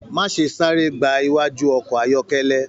Má ṣe sáré gbà iwájú ọkọ ayọkẹlẹ.